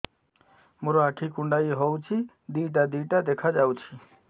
ମୋର ଆଖି କୁଣ୍ଡାଇ ହଉଛି ଦିଇଟା ଦିଇଟା ଦେଖା ଯାଉଛି